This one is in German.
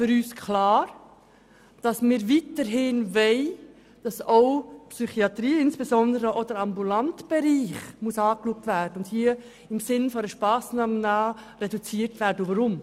Wir wollen aber weiterhin, dass auch die Psychiatrie, insbesondere der ambulante Bereich, überprüft wird, und dass dieser im Sinn einer Sparmassnahme reduziert werden muss.